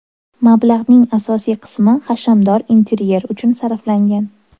Mablag‘ning asosiy qismi hashamdor interyer uchun sarflangan.